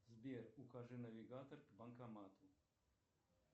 сбер укажи навигатор к банкомату